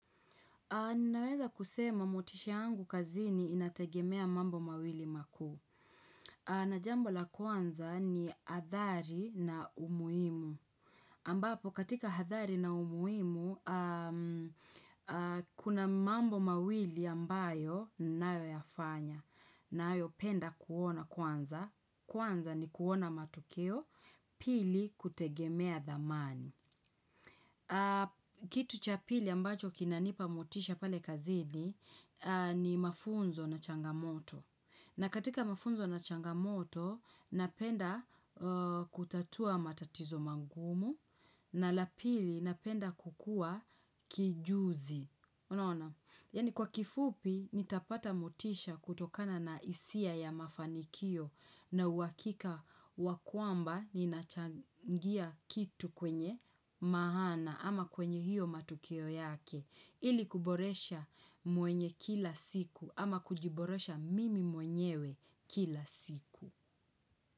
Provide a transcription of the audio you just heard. Ninaweza kusema motisha yangu kazini inategemea mambo mawili makuu. Na jambo la kwanza ni hadhari na umuhimu. Ambapo katika hadhari na umuhimu, kuna mambo mawili ambayo ninayoyafanya. Ninayopenda kuona kwanza. Kwanza ni kuona matokeo pili kutegemea dhamani. Kitu cha pili ambacho kinanipa motisha pale kazini ni mafunzo na changamoto. Na katika mafunzo na changamoto napenda kutatua matatizo magumu na la pili napenda kukua kijuzi. Yaani kwa kifupi nitapata motisha kutokana na hisia ya mafanikio na uhakika wa kwamba ninachangia kitu kwenye maana ama kwenye hiyo matukio yake ili kuboresha mwenye kila siku ama kujiboresha mimi mwenyewe kila siku.